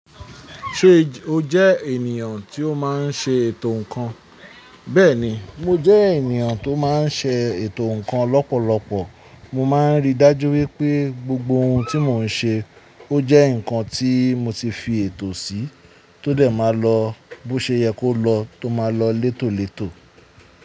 Ṣe o jẹ ènìyàn tí ó máa ń ṣe ètò ǹkan? Bẹ́ẹ̀ni, mo jẹ ènìyàn tó máa ń ṣe ètò ǹkan lọ́pọ̀lọpọ̀. Mo máa ń rí dájú wípé gbogbo ohun tí mo ń ṣe ó jẹ́ ǹkan tí mo ti fi ètò sí, tó dé máa lọ bó ṣe yẹ kó lọ tó máa lọ létòlètò.